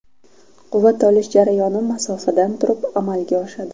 Quvvat olish jarayoni masofadan turib amalga oshadi.